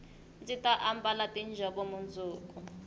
ndzi ta ambala tiinjhovo mundzuku